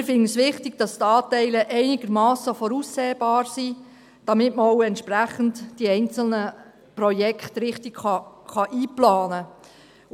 Wir finden es wichtig, dass die Anteile einigermassen voraussehbar sind, damit man die einzelnen Projekte auch entsprechend richtig einplanen kann.